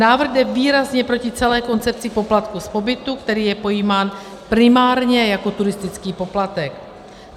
Návrh jde výrazně proti celé koncepci poplatku z pobytu, který je pojímán primárně jako turistický poplatek.